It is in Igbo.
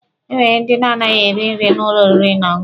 Enwere ndị na-anaghị eri nri n'ụlọ oriri na ọṅụṅụ.